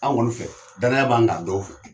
An kɔni fɛ danaya b'an k'a dɔw fɛ.